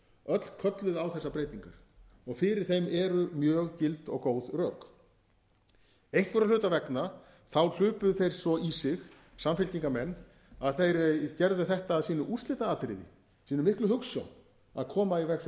öll kölluðu á þessar breytingar og fyrir þeim eru mjög gild og góð rök einhverra hluta vegna hlupu þeir svo í sig samfylkingarmenn að þeir gerðu þetta að sínu úrslitaatriði sinni miklu hugsjón að koma í veg fyrir þetta mál